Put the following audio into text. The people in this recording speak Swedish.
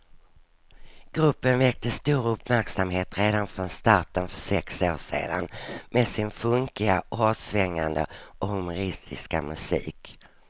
Gruppen väckte stor uppmärksamhet redan från starten för sex år sedan med sin funkiga, hårdsvängande och humoristiska musik.